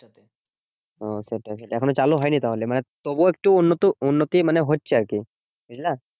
ও সেটা এখনো চালু হয়নি তাহলে? মানে তবুও একটু উন্নত উন্নতি মানে হচ্ছে আরকি, বুঝলা?